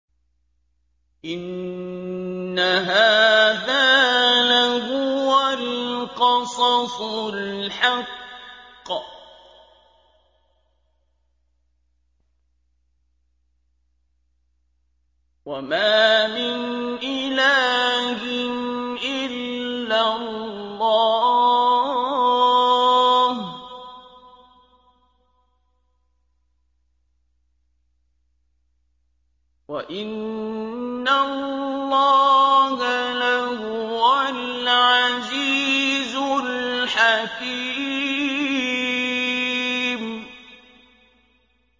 إِنَّ هَٰذَا لَهُوَ الْقَصَصُ الْحَقُّ ۚ وَمَا مِنْ إِلَٰهٍ إِلَّا اللَّهُ ۚ وَإِنَّ اللَّهَ لَهُوَ الْعَزِيزُ الْحَكِيمُ